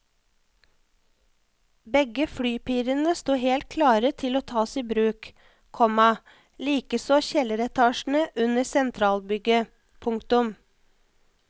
Begge flypirene står helt klare til å tas i bruk, komma likeså kjelleretasjene under sentralbygget. punktum